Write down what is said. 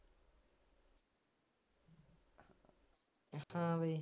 ਹਾਂ ਬਈ